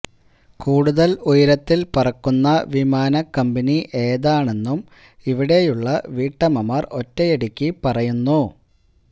കൂടുതൽ ഉയരത്തിൽ പറക്കുന്ന വിമാനക്കമ്പനി ഏതാണെന്നും ഇവിടെയുള്ള വീട്ടമ്മമാർ ഒറ്റയടിക്കു പറയുന്നു